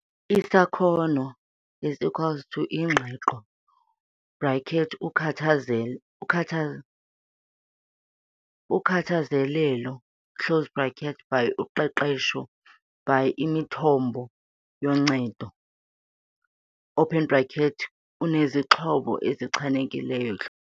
Isakhono is equal Ingqiqo, bracket ukhathazelo ukhatha ukhakazelelo close bracket, by Uqeqesho by Imithombo yoncedo, open bracket unezixhobo ezichanekileyo.